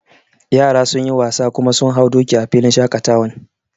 Yara sun yi wasa kuma sun hau doki a filin shaƙatawan